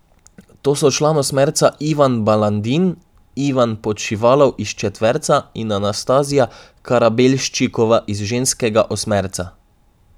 To so član osmerca Ivan Balandin, Ivan Podšivalov iz četverca in Anastazija Karabelščikova iz ženskega osmerca.